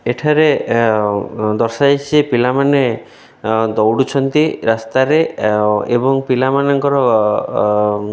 ଏଠାରେ ଏ ଅ ଦର୍ଶାଯାଇଛି ଯେ ପିଲାମାନେ ଅ ଦୌଡୁଛନ୍ତି ରାସ୍ତାରେ ଏ ଏବଂ ପିଲାମାନଙ୍କର ଅ ଅ --